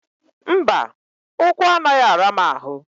Mba, ụkwụ anaghị ara m ahụ